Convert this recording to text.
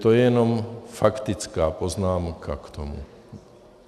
To je jen faktická poznámka k tomu.